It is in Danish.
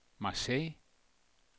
Marseille